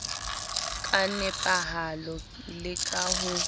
ka nepahalo le ka ho